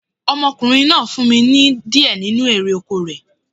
Ọmọkùnrin náà fún mi ní di ẹ nínu erè oko rẹ̀